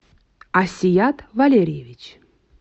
асият валерьевич